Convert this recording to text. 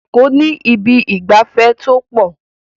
Eko ni Ibi ìgbafẹ́ to po